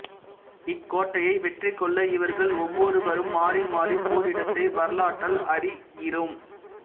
இக்கோட்டையை வெற்றி கொள்ள இவர்கள் ஒவ்வொருவரும் மாறிமாறிப் போரிட்டதை வரலாற்றால் அறிகிறோம்